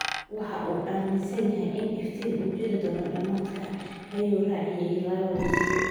Waxa uu aaminsan yahay in iftiin uu jiri doono dhamaadka, ayuu raaciyay Laurens.